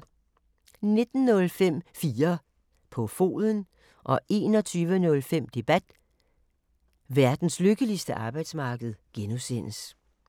19:05: 4 på foden 21:05: Debat: Verdens lykkeligste arbejdsmarked (G)